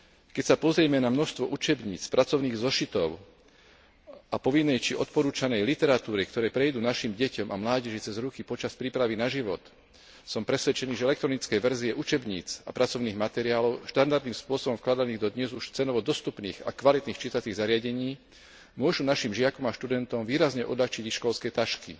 Keď sa pozrieme na množstvo učebníc, pracovných zošitov a povinnej či odporúčanej literatúry, ktoré prejdú našim deťom a mládeži cez ruky počas prípravy na život, som presvedčený, že elektronické verzie učebníc a pracovných materiálov štandardným spôsobom vkladaných do dnes už cenovo dostupných a kvalitných čítacích zariadení môžu našim žiakom a študentom výrazne odľahčiť ich školské tašky.